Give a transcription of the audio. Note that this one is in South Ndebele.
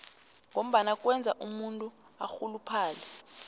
ngombana kwenza umuntu arhuluphale